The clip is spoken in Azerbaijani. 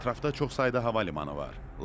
Ətrafda çox sayda hava limanı var.